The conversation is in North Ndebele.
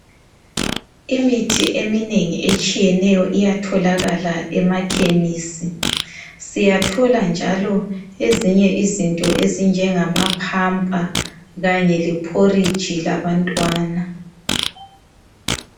Imithi eminengi etshiyeneyo iyatholakala emakhemisi siyathola njalo ezinye izinto ezinjengama pamper kanye leporrigde labantwana